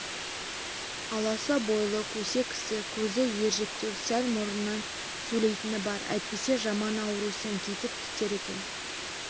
аласа бойлы көсе кісі көзі ежіріктеу сәл мұрнынан сөйлейтіні бар әйтпесе жаман ауру сәңкитіп кетер екен